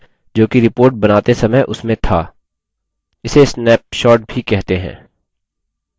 वह हमेशा वही data दर्शाता है जोकि report बनाते समय उसमें था